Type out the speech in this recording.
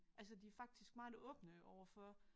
Altså de er faktisk meget åbne overfor